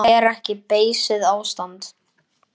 Það er ekki beysið ástand.